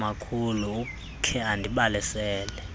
umakhulu ukhe andibalisele